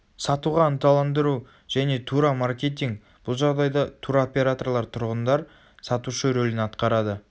сатуға ынталандыру және тура маркетинг бұл жағдайда туроператорлар тұрғындар сатушы рөлін атқарады